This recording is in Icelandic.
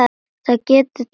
Það getur tekið um mánuð.